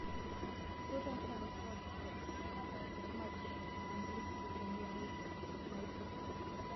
тоттенхэм хотспур матч английской премьер лиги найти